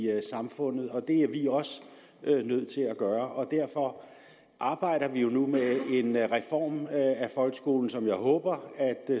samfundet og det er vi også nødt til at gøre og derfor arbejder vi jo nu med en reform af folkeskolen som jeg håber at